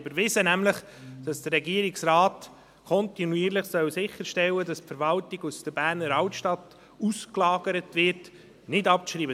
Ich beantrage Ihnen, den Vorstoss , wonach der Regierungsrat kontinuierlich sicherstellen soll, dass die Verwaltung aus der Berner Altstadt ausgelagert wird, nicht abzuschreiben.